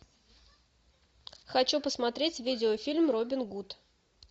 хочу посмотреть видеофильм робин гуд